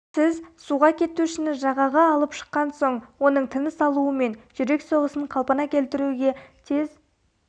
сіз суға кетушіні жағаға алып шыққан соң оның тыныс алуы мен жүрек соғысын қалпына келтіруге тез